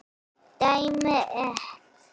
Dæmi: et.